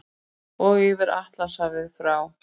Og yfir Atlantshafið frá